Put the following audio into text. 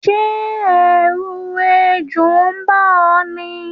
Sé èrù ejò n ba ó ní?